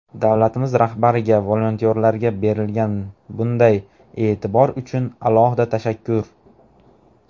Davlatimiz rahbariga volontyorlarga berilgan bunday e’tibor uchun alohida tashakkur!.